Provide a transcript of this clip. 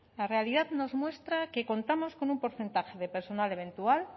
la realidad nos muestra que contamos con un porcentaje de personal eventual